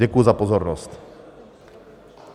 Děkuji za pozornost.